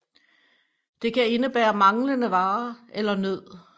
Det kan indebære manglende varer eller nød